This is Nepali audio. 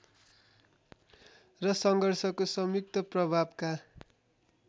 र सङ्घर्षको संयुक्त प्रभावका